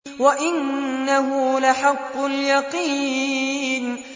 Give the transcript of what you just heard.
وَإِنَّهُ لَحَقُّ الْيَقِينِ